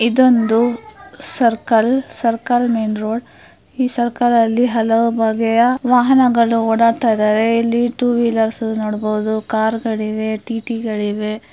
ಇದೊಂದು circle circle main road ಇದರಲ್ಲಿಈ circle ಅಲ್ಲಿ ಹಲವು ಬಗೆಯ ವಾಹನಗಳು ಓಡಾಡಿದರೆ ಅಲ್ಲಿ ಟೂ ವೀಲರ್ ನೋಡಬಹುದು ಕಾರ್ಗಳಿವೆ ಟಿ.ಟಿ. ಗಳಿವೆ.